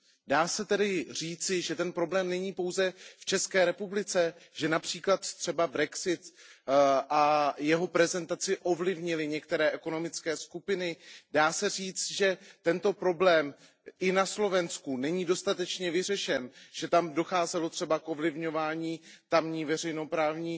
Dá se tedy říci, že ten problém není pouze v České republice, že například třeba brexit a jeho prezentaci ovlivnily některé ekonomické skupiny, dá se říct, že tento problém není ani na Slovensku dostatečně vyřešen, že tam docházelo třeba k ovlivňování tamní veřejnoprávní